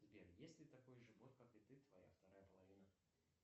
сбер есть ли такой же бот как и ты твоя вторая половина